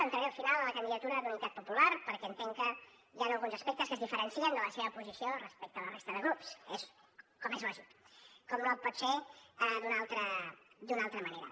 entraré al final en la candidatura d’unitat popular perquè entenc que hi han alguns aspectes que es diferencien de la seva posició respecte a la resta de grups com és lògic com no pot ser d’una altra manera